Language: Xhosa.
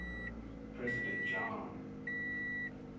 president john